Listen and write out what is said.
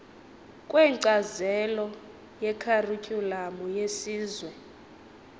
kwenkcazelo yekharityhulamu yesizwe